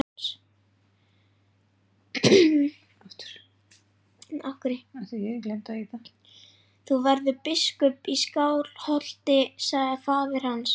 Þú verður biskup í Skálholti, sagði faðir hans.